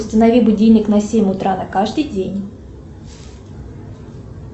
установи будильник на семь утра на каждый день